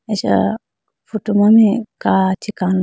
acha photo ma mai kachi kalo.